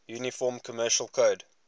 uniform commercial code